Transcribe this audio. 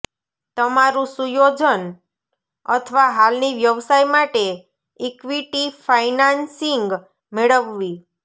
તમારું સુયોજન અથવા હાલની વ્યવસાય માટે ઇક્વિટી ફાઇનાન્સિંગ મેળવવી